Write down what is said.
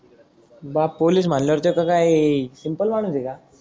बाप पोलिस म्हणल्या वर त्याच काय सिम्पल माणूस आहे का